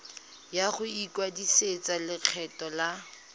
ya go ikwadisetsa lekgetho la